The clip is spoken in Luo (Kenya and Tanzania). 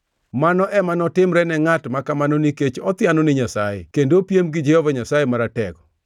mano ema notimre ne ngʼat ma kamano nikech othiano ni Nyasaye kendo opiem gi Jehova Nyasaye Maratego,